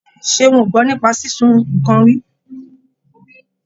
Ṣeun ò gbọ́ nípa sísun nǹkan rí.